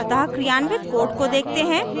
अतः कार्यान्वित code को देखते हैं